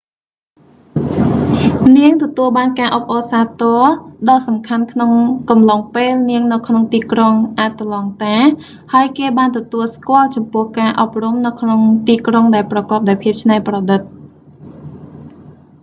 នាងទទួលបានការអបអរសាទរដ៏សំខាន់ក្នុងកំឡុងពេលនាងនៅក្នុងទីក្រុង អាត្លង់តា ហើយគេបានទទួលស្គាល់ចំពោះការអប់រំនៅក្នុងទីក្រុងដែលប្រកបដោយភាពច្នៃប្រឌិត